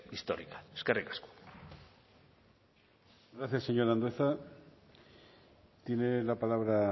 histórica eskerrik asko gracias señor andueza tiene la palabra